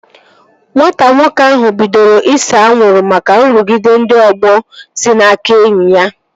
Nwata nwoke ahụ bidoro ise anwụrụ maka nrụgide ndị ọgbọ si n'aka ndị enyi ya